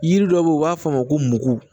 Yiri dɔ bɛ yen u b'a f'a ma ko mugu